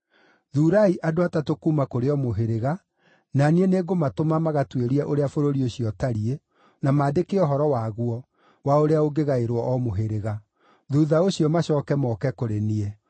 Thuurai andũ atatũ kuuma kũrĩ o mũhĩrĩga, na niĩ nĩngũmatũma magatuĩrie ũrĩa bũrũri ũcio ũtariĩ na maandĩke ũhoro waguo, wa ũrĩa ũngĩgaĩrwo o mũhĩrĩga. Thuutha ũcio macooke moke kũrĩ niĩ.